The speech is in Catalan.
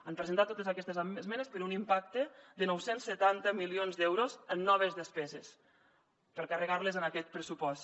han presentat totes aquestes esmenes per un impacte de nou cents i setanta milions d’euros en noves despeses per carregar les en aquest pressupost